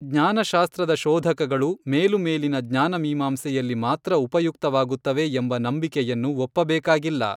ಜ್ಞಾನಶಾಸ್ತ್ರದ ಶೋಧಕಗಳು ಮೇಲುಮೇಲಿನ ಜ್ಞಾನ ಮೀಮಾಂಸೆಯಲ್ಲಿ ಮಾತ್ರ ಉಪಯುಕ್ತವಾಗುತ್ತವೆ ಎಂಬ ನಂಬಿಕೆಯನ್ನು ಒಪ್ಪಬೇಕಾಗಿಲ್ಲ.